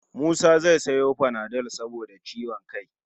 Musa zai sayo panadol saboda ciwon kai